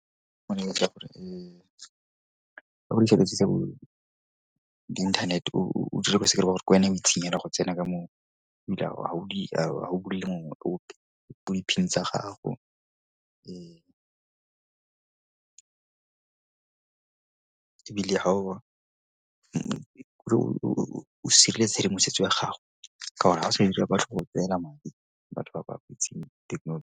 gore dilo tse tsa bo di inthanete ba re ke wena o itseng hela go tsena moo ebile ga o di tsa gago. Ebile ha o sireletsa tshedimosetso ya gago ka gore ga o sa batho ba ba itseng thekenoloji.